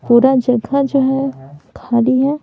पूरा जगा जो है खली है।